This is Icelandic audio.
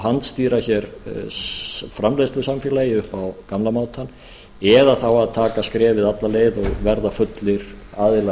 handstýra hér framleiðslusamfélagi upp á gamla mátann eða þá að taka skrefið alla leið og verða fullir aðilar